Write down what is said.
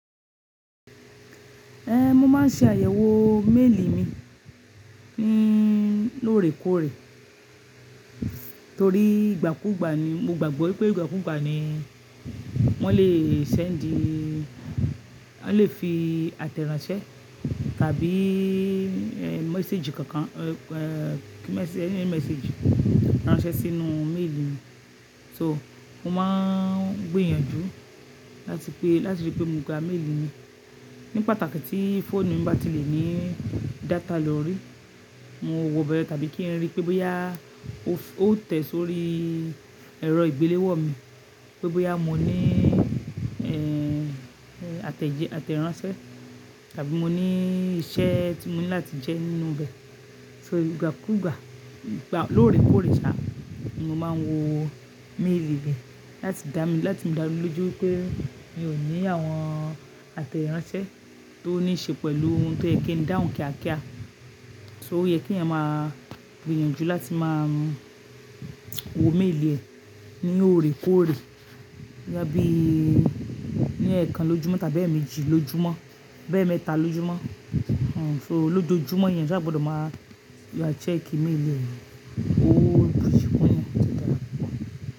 Ẹhn, mo ma n ṣe àyẹ̀wò méèlì mi ní lóòrèkóòrè torí ìgbàkúgbà ni mo gbàgbọ́ pé ìgbàkúgbà ni wọ́n lè sendi, wọ́n lè fi àtẹ̀ránsẹ́ tàbí mẹsséèjì kankan, eh, eh, kí message, ẹní ẹni message ránṣẹ́ sínú méèlì mi. So mo máa n gbìyànjú láti pé, láti rí pé mo ga méèlì mi ní pàtàkì tí fóònù mi bá ti lè ní data lórí. Mo wọ bẹ tàbí kí n rí pé bóyá ó tẹ̀ sórí ẹ̀rọ ìgbéléwọ mi, pé bóyá mo ní, eh, eh, àtẹ̀jẹ, àtẹ̀ránsẹ́ tàbí mo ní iṣẹ́ tí mo ní láti jẹ nínú bẹ. So ìgbàkúgbà, gbà lóòrèkóòrè ṣá, mo máa n wo méèlì bẹ láti dá mi, láti mú dá lójú wipé mi ò ní àwọn àtẹ̀ránsẹ́ tó ní ṣe pẹ̀lú ohun tó yẹ kí n dáhù kíá kíá. So ó yẹ ki'èyán máa gbìyànjú láti máa wo méèlì ẹ ní òrèkóòrè. Ya bí ní ẹ̀ẹ̀kan lójúmọ́ tàbí ẹ̀ẹ̀méjì lójúmọ́, bá ẹ̀ẹ̀mẹ́ta lójúmọ́. Hmm, so lójoójúmọ́ èèyàn sáà gbọdọ̀ máa lọ check méèlì rẹ, ó buyì kún'yàn ó sì dára.